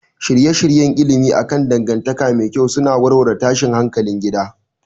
Shirye-shiryen ilimi akan dangantaka mai kyau suna warware tashin hankalin gida